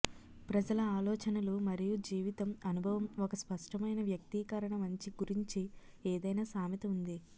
ప్రజల ఆలోచనలు మరియు జీవితం అనుభవం ఒక స్పష్టమైన వ్యక్తీకరణ మంచి గురించి ఏదైనా సామెత ఉంది